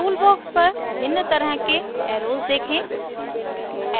tool box पर भिन्न तरह के एर्रोस देखें